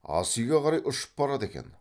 асүйге қарай ұшып барады екен